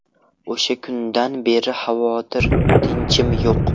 O‘sha kundan beri xavotir, tinchim yo‘q.